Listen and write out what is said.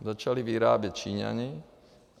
Začali vyrábět Číňani.